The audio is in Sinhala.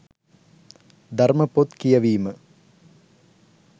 ධර්ම පොත් කියවීම